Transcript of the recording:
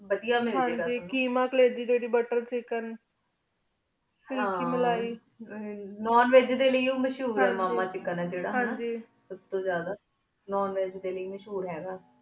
ਵਾਦੇਯਾ ਮਿਲਜੇ ਗਾ ਹਨ ਜੀ ਕੀਮਾ ਕਾਲਿਜੀ ਬਾਤੇੰ ਚਿਕ੍ਕੇਨ ਹਨ ਮਿਲੈ ਹਮਮ ਨੋਉਣ ਵਜੀ ਲੈ ਉਮ੍ਸ਼੍ਹੁਰ ਆਯ ਮਾਮਾ ਚਿਕ੍ਕੇਨ ਆਯ ਜੀਰਾ ਹਨ ਜੀ ਸਬ ਤੂੰ ਜਾਦਾ ਨੋਉਣ ਵਜੀ ਲੈ ਮਸ਼ਹੂਰ ਹੀ ਗਾ